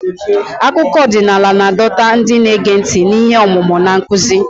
Akụkọ ọdịnala na-adọta ndị na-ege ntị n'ihe omume na nkuzi.